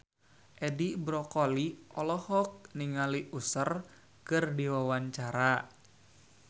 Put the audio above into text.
Edi Brokoli olohok ningali Usher keur diwawancara